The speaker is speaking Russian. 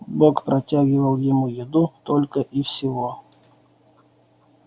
бог протягивал ему еду только и всего